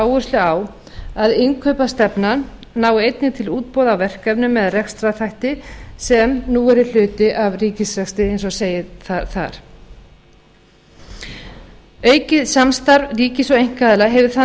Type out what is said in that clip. áherslu á að innkaupastefnan nái einnig til útboða á verkefnum eða rekstrarþátta sem nú eru hluti af ríkisrekstri eins og segir þar aukið samstarf ríkis og einkaaðila hefur þann